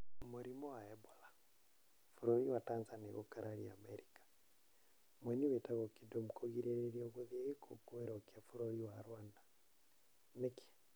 Mũrimũ wa Ebola: Bũrũri waTanzania gũkararia Amerika. Mũini wĩtagwo Kidum kũgirĩrĩrio gũthiĩ gĩkũngũĩro kia bũrũri wa Rwanda - nĩkĩ?